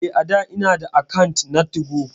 Eh a'dà ina da akant na 2go.